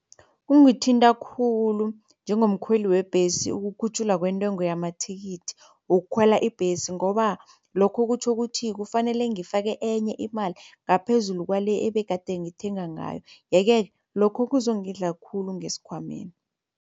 Kungithinta khulu njengomkhweli webhesi ukukhutjhulwa kwentengo yamathikithi wokukhwela ibhesi ngoba lokho kutjho ukuthi kufanele ngifake enye imali ngaphezulu kwale ebegade ngithenga ngayo, yeke lokho kuzongidla khulu ngesikhwameni.